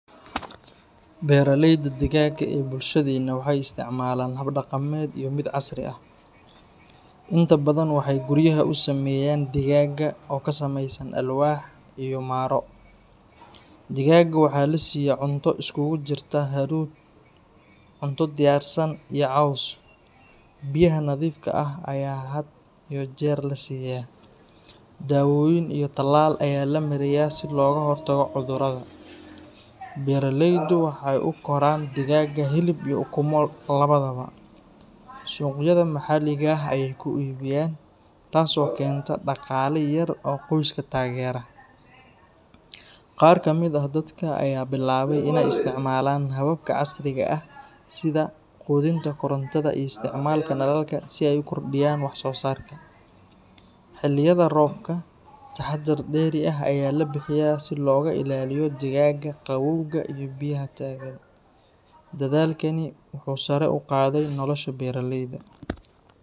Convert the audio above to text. Beeraleyda digaagga ee bulshadeena waxay isticmaalaan hab dhaqameed iyo mid casri ah. Inta badan waxay guryaha u sameeyaan digaagga oo ka samaysan alwaax iyo maro. Digaagga waxaa la siiya cunto isugu jirta hadhuudh, cunto diyaarsan, iyo caws. Biyaha nadiifka ah ayaa had iyo jeer la siiyaa. Daawooyin iyo tallaal ayaa la mariyaa si looga hortago cudurrada. Beeraleydu waxay u koraan digaagga hilib iyo ukumo labadaba. Suuqyada maxalliga ah ayay ku iibiyaan, taas oo keenta dhaqaale yar oo qoyska taageera. Qaar ka mid ah dadka ayaa bilaabay inay isticmaalaan hababka casriga ah sida quudinta korontada iyo isticmaalka nalalka si ay u kordhiyaan wax-soosaarka. Xilliyada roobka, taxaddar dheeri ah ayaa la bixiyaa si looga ilaaliyo digaagga qabowga iyo biyaha taagan. Dadaalkani wuxuu sare u qaaday nolosha beeraleyda.